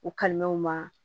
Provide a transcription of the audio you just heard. U kalimew ma